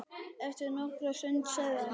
Eftir nokkra stund sagði hann